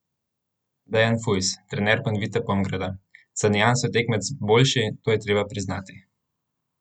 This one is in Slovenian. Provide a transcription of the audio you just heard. Dejan Fujs, trener Panvite Pomgrada: 'Za nianso je tekmec boljši, to je treba priznati.